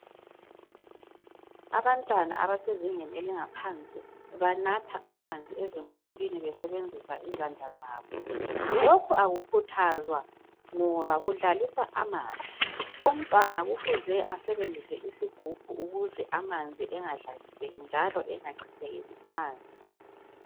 Abantwana abasezingeni eliphansi banatha amanzi ezimpompini besebenzisa izandla zabo. Lokhu akukhuthaza ngoba kudlalisa amanzi umntwana okufuze asebenzise isigubhu ukuze amanzi engadlaliseki njalo engachithekeli phansi